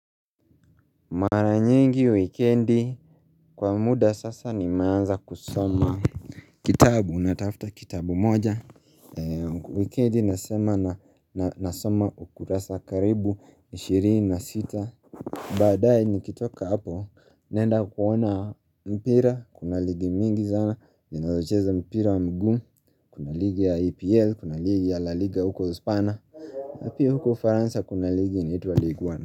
Mara nyingi wikendi kwa muda sasa nimaanza kusoma Kitabu natafuta kitabu moja Wikendi nasema na nasoma ukurasa karibu ishirini na sita Baadae nikitoka hapo naenda kuona mpira kuna ligi mingi zana zinazocheza mpira wa mguu kuna ligi ya EPL kuna ligi ya la liga huko uhispania na pia huko ufaransa kuna ligi anAnaitwa league 1.